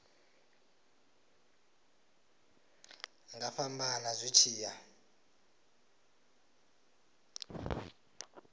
nga fhambana zwi tshi ya